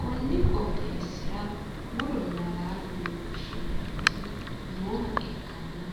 konni qooxeessira muronna laalo yine woshhsineemmoti nooha ikkanna,